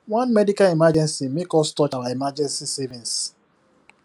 one medical emergency make us touch our emergency savings